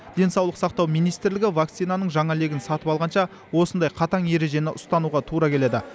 денсаулық сақтау министрлігі вакцинаның жаңа легін сатып алғанша осындай қатаң ережені ұстануға тура келеді